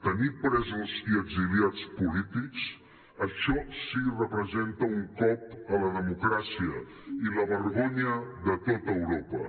tenir presos i exiliats polítics això sí que representa un cop a la democràcia i la vergonya de tot europa